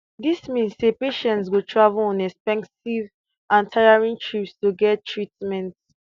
dis mean say patients go travel on expensive and tiring trips to get treatment